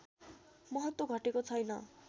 महत्त्व घटेको छैन